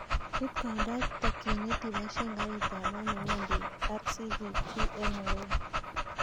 Iit koindo ak takyinet ibaishen karit ab maat newendi rccg en nairobi